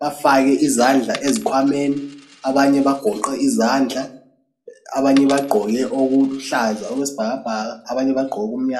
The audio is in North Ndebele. bafake izandla ezikhwameni abanye bagoqe izandla abanye bagqoke okuluhlaza okwesibhakabhaka abanye bagqoke okumnyama.